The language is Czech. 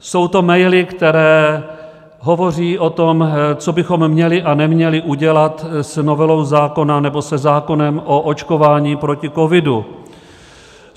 Jsou to maily, které hovoří o tom, co bychom měli a neměli udělat s novelou zákona, nebo se zákonem o očkování proti covidu.